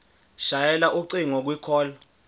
shayela ucingo kwicall